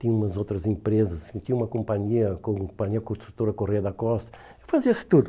Tinha umas outras empresas, tinha uma companhia, a Companhia Construtora Correia da Costa, fazia-se tudo.